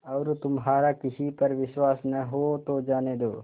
और तुम्हारा किसी पर विश्वास न हो तो जाने दो